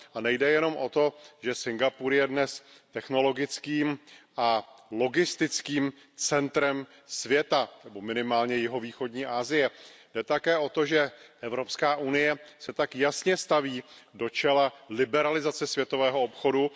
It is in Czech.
A nejde jenom o to, že Singapur je dnes technologickým a logistickým centrem světa nebo minimálně jihovýchodní Asie, jde také o to, že EU se tak jasně staví do čela liberalizace světového obchodu.